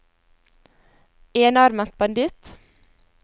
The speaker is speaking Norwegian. enarmet banditt